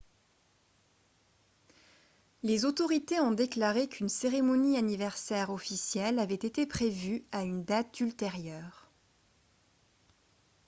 les autorité ont déclaré qu'une cérémonie anniversaire officielle avait été prévue à une date ultérieure